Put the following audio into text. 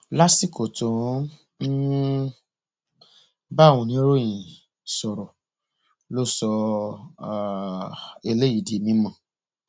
lásìkò tó ń um bá àwọn oníròyìn sọrọ ló sọ um eléyìí di mímọ